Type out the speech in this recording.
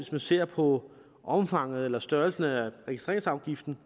man ser på omfanget eller størrelsen af registreringsafgiften